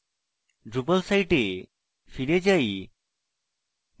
drupal site ফিরে যাই